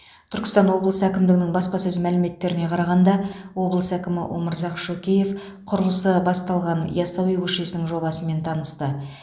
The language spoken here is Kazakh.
түркістан облысы әкімдігінің баспасөз мәліметтеріне қарағанда облыс әкімі өмірзақ шөкеев құрылысы басталған ясауи көшесінің жобасымен танысты